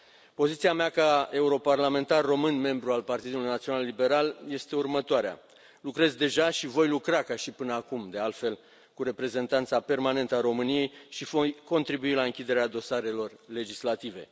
Poziția mea ca europarlamentar român, membru al Partidului Național Liberal, este următoarea lucrez deja și voi lucra ca și până acum, de altfel cu Reprezentanța Permanentă a României și voi contribui la închiderea dosarelor legislative.